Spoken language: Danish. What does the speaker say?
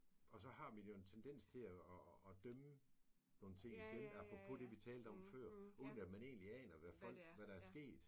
Og så har vi jo en tendens til og og dømme nogle ting igen apropos det vi talte om før uden at man egentlig aner hvad folk hvad der er sket